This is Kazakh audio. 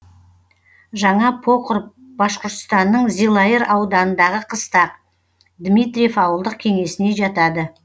жаңа покр башқұртстанның зилайыр ауданындағы қыстақ дмитриев ауылдық кеңесіне жатады